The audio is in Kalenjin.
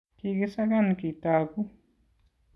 kiki sakan kitogu